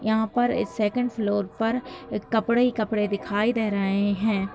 यहाँ पर ए सेकंड फ्लोर पर ए कपड़े ही कपड़े दिखाई दे रहे हैं।